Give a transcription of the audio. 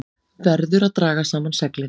Verður að draga saman seglin